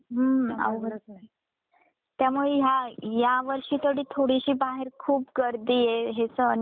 त्यामुळे ह्यावेळी ह्या ह्या वर्षी तरी थोडीशी बाहेर खूप गर्दी आहे हे सण वार सगळ